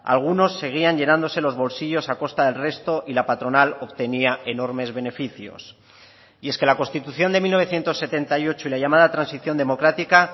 algunos seguían llenándose los bolsillos a costa del resto y la patronal obtenía enormes beneficios y es que la constitución de mil novecientos setenta y ocho y la llamada transición democrática